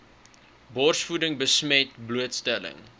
borsvoeding besmet blootstelling